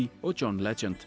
og John